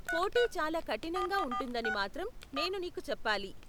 పోటీ చాలా కఠినంగా ఉంటుందని మాత్రం నేను నీకు చెప్పాలి.